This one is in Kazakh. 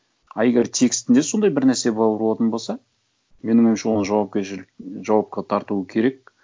а егер текстінде сондай бір нәрсе болатын болса менің ойымша оны жауапкершілік жауапқа тарту керек